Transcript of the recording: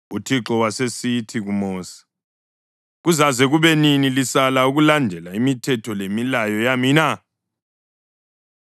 UThixo wasesithi kuMosi, “Kuzaze kube nini lisala ukulandela imithetho lemilayo yami na?